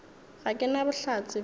ga ke na bohlatse bjoo